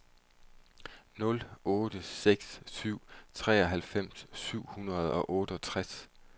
nul otte seks syv treoghalvfems syv hundrede og otteogtres